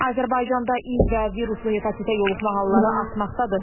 Azərbaycanda İİV və viruslu hepatitə yoluxma halları artmaqdadır.